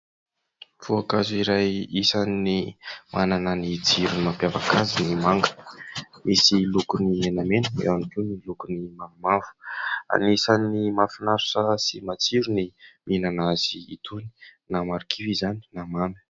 Voankazo iray isan'ny manana ny tsiro mampiavaka azy ny manga, misy lokony menamena, eo ihany koa ny lokony mavomavo. Anisan'ny mahafinaritra sy matsiro ny mihinana azy itony, na marikivy izany na mamy.